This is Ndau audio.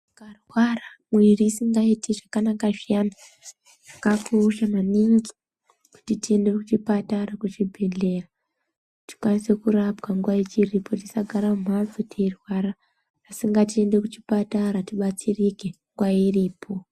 Ukarwara mwirin isingaiti zvakanaka zviyana zvakakosha maningi kuti tiende kuchipatara kuchibhehlera tikwanise kurapwa nguwa ichiripo tisagara mumhatso teirwara asi ngatiende kuchipatara tibatsirike nguwa iripo.